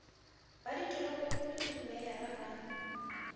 ba ditoropokgolo le dimeyara ba